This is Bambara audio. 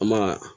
An b'a